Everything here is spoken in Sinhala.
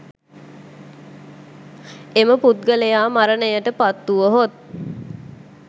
එම පුද්ගලයා මරණයට පත්වුවහොත්,